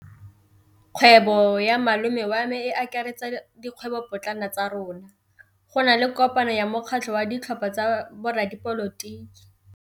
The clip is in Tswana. Kgwêbô ya malome wa me e akaretsa dikgwêbôpotlana tsa rona. Go na le kopanô ya mokgatlhô wa ditlhopha tsa boradipolotiki.